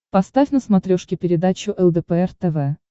поставь на смотрешке передачу лдпр тв